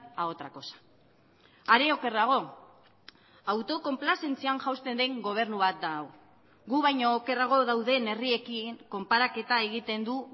a otra cosa are okerrago autokonplazentzian jausten den gobernu bat da hau gu baino okerrago dauden herriekin konparaketa egiten du